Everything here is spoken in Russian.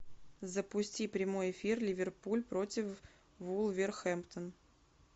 запусти прямой эфир ливерпуль против вулверхэмптон